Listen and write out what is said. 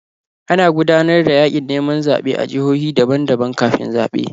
Ana gudanar da yaƙin neman zaɓe a jihohi daban-daban kafin zaɓe.